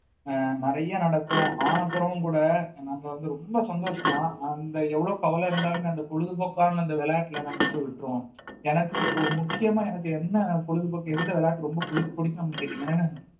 அஹ் நிறைய நடக்கும் ஆன பிறகும் கூட நாங்க வந்து ரொம்ப சந்தோஷமா அந்த எவ்வளவு கவலை இருந்தாலுமே அந்த பொழுதுபோக்கான அந்த விளையாட்டுல நாங்க வந்து விட்டுருவோம் எனக்கு இப்போ முக்கியமா எனக்கு என்ன பொழுதுபோக்கு எந்த விளையாட்டு ரொம்ப புடிக்~ பிடிக்கும் அப்படின்னு கேட்டீங்கன்னா